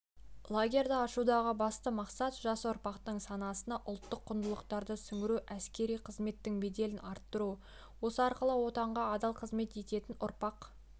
лагерьді ашудағы басты мақсат жас ұрпақтың санасына ұлттық құндылықтарды сіңіру әскери қызметтің беделін арттыру осы арқылы отанға адал қызмет ететін ұрпақ